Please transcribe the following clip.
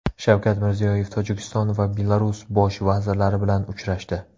Shavkat Mirziyoyev Tojikiston va Belarus bosh vazirlari bilan uchrashdi.